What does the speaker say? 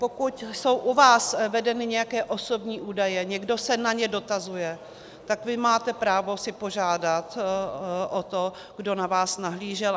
Pokud jsou u vás vedeny nějaké osobní údaje, někdo se na ně dotazuje, tak vy máte právo si požádat o to, kdo na vás nahlížel.